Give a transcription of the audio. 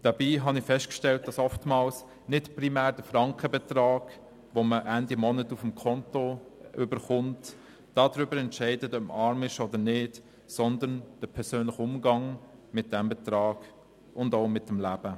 Dabei habe ich festgestellt, dass oftmals nicht primär der Frankenbetrag, den man Ende Monat auf das Konto erhält, darüber entscheidet, ob man arm ist oder nicht, sondern der persönliche Umgang mit diesem Betrag und auch mit dem Leben.